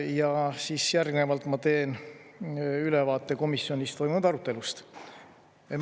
Ja siis järgnevalt ma teen ülevaate komisjonis toimunud arutelust.